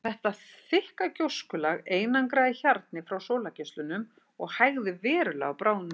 Þetta þykka gjóskulag einangraði hjarnið frá sólargeislunum og hægði verulega á bráðnun jökulsins.